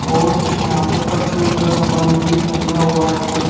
और यहां पर परचून का सामान भी टांगा हुआ है।